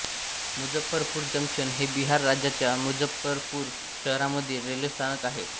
Muzaffarpur junction हे बिहार राज्याच्या मुझफ्फरपूर शहरामधील रेल्वे स्थानक आहे